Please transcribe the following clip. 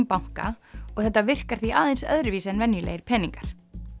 banka og þetta virkar því aðeins öðruvísi en venjulegir peningar